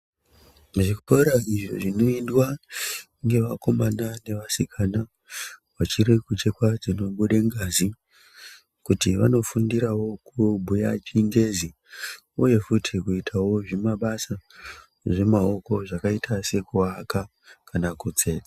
Muzvikora izvo zvinoendwa ngevakomana nevasikana vachiri kuchekwa dzinobude ngazi, kuti vandofundirawo kubhuya chingezi uye futi kuitawo zvimabasa zvemaoko, zvakaita sekuaka kana kutsetsa.